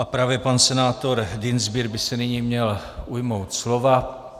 A právě pan senátor Dienstbier by se nyní měl ujmout slova.